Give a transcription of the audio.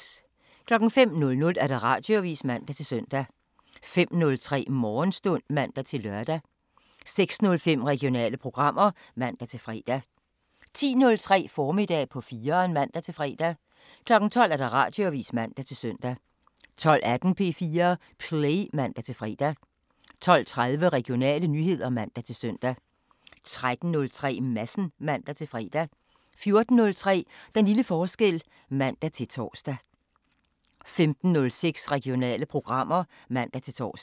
05:00: Radioavisen (man-søn) 05:03: Morgenstund (man-lør) 06:05: Regionale programmer (man-fre) 10:03: Formiddag på 4'eren (man-fre) 12:00: Radioavisen (man-søn) 12:18: P4 Play (man-fre) 12:30: Regionale nyheder (man-søn) 13:03: Madsen (man-fre) 14:03: Den lille forskel (man-tor) 15:06: Regionale programmer (man-tor)